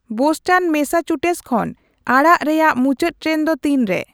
Boston Massachusetts ᱠᱷᱚᱱ ᱟᱲᱟᱜ ᱨᱮᱭᱟᱜ ᱢᱩᱪᱟᱹᱫ ᱴᱨᱮᱱ ᱫᱚ ᱛᱤᱱᱨᱮ